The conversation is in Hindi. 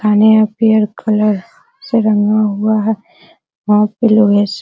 थाने यहा पियर कलर से रंगा हुआ है वहां पे लोहे स --